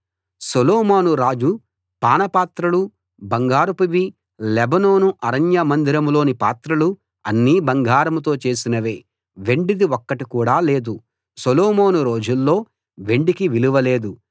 సొలొమోను రాజు పానపాత్రలు బంగారపువి లెబానోను అరణ్య మందిరంలోని పాత్రలు అన్నీ బంగారంతో చేసినవే వెండిది ఒక్కటి కూడా లేదు సొలొమోను రోజుల్లో వెండికి విలువ లేదు